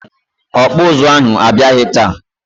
Ọkpụụzụ ahụ abịaghị taa.